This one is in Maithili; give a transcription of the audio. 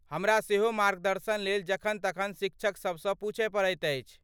हमरा सेहो मार्गदर्शनलेल जखन तखन शिक्षकसभसँ पूछय पड़ैत अछि।